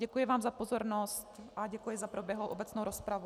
Děkuji vám za pozornost a děkuji za proběhlou obecnou rozpravu.